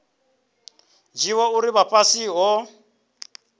dzhia uri vha fhasi havho